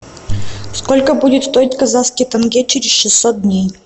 сколько будет стоить казахский тенге через шестьсот дней